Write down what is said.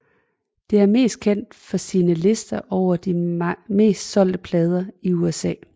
Det er mest kendt for sine lister over de mest solgte plader i USA